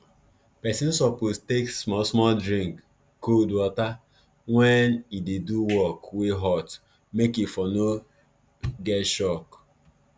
pesin suppose take smallsmall drink cold water wen e dey do work wey hot make e for no get shock